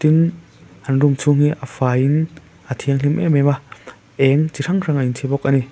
tin an room chhung hi a faiin a thianghlim em em a eng chi hrang hrang an chhi bawk ani.